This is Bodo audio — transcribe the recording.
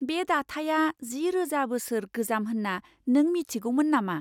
बे दाथाया जि रोजा बोसोर गोजाम होनना नों मिथिगौमोन नामा?